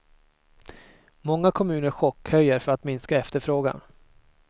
Många kommuner chockhöjer för att minska efterfrågan.